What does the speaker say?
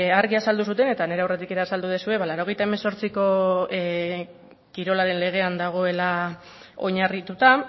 argi azaldu zuten eta nire aurretik ere azaldu duzue ba laurogeita hemezortziko kirolaren legean dagoela oinarrituta